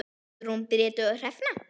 Guðrún Bríet og Hrefna.